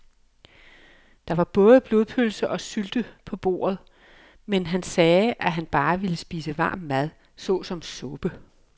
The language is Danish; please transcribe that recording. Der var både blodpølse og sylte på bordet, men han sagde, at han bare ville spise varm mad såsom suppe.